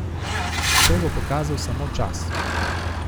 To bo pokazal samo čas.